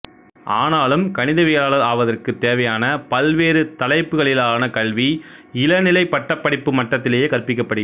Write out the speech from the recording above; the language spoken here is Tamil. ஆனாலும் கணிதவியலாளர் ஆவதற்குத் தேவையான பல்வேறு தலைப்புக்களிலான கல்வி இளநிலைப் பட்டப் படிப்பு மட்டத்திலேயே கற்பிக்கப்படுகிறது